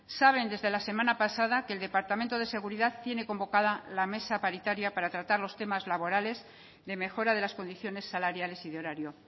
saben desde la semana pasada que el departamento de seguridad tiene convocada la mesa paritaria para tratar los temas laborales de mejora de las condiciones salariales y de horario